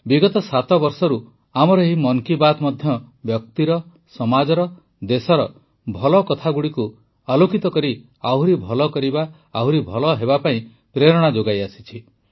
ବିଗତ ସାତ ବର୍ଷରୁ ଆମର ଏହି ମନ୍ କି ବାତ୍ ମଧ୍ୟ ବ୍ୟକ୍ତିର ସମାଜର ଦେଶର ଭଲ କଥାଗୁଡ଼ିକୁ ଉଜାଗର କରି ଆହୁରି ଭଲ କରିବା ଆହୁରି ଭଲ ହେବା ପାଇଁ ପ୍ରେରଣା ଯୋଗାଇଆସିଛି